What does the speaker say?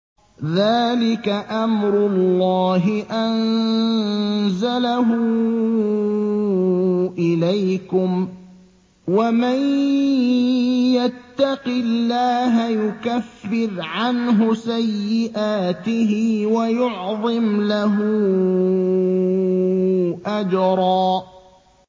ذَٰلِكَ أَمْرُ اللَّهِ أَنزَلَهُ إِلَيْكُمْ ۚ وَمَن يَتَّقِ اللَّهَ يُكَفِّرْ عَنْهُ سَيِّئَاتِهِ وَيُعْظِمْ لَهُ أَجْرًا